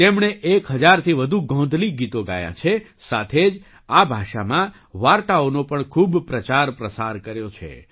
તેમણે 1૦૦૦થી વધુ ગોંધલી ગીતો ગાયાં છે સાથે જ આ ભાષામાં વાર્તાઓનો પણ ખૂબ પ્રચારપ્રસાર કર્યો છે